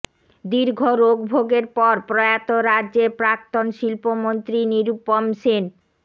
দীর্ঘ রোগ ভোগের পর প্রয়াত রাজ্যের প্রাক্তন শিল্পমন্ত্রী নিরুপম সেন